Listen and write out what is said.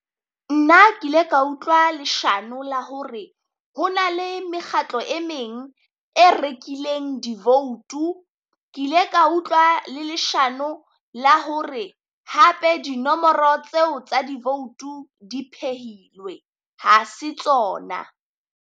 Nna ke ile ka utlwa leshano la hore ho na le mekgatlo e meng e rekileng di vote-u, ke ile ka utlwa le leshano la hore hape dinomoro tseo tsa di vote-u di phehilwe ha se tsona.